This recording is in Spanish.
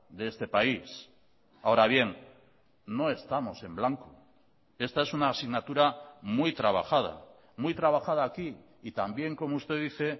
de este país ahora bien no estamos en blanco esta es una asignatura muy trabajada muy trabajada aquí y también como usted dice